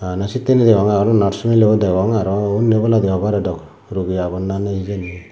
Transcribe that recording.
bana sittani degong arow nars mileun degong arow undi oboladi hobare dw rogi agon na ney hijeni.